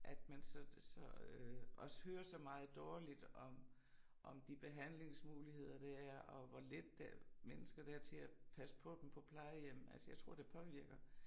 At man så så øh også hører så meget dårligt om om de behandlingsmuligheder der er og hvor lidt øh mennesker der er til at passe på dem på plejehjem altså jeg tror det påvirker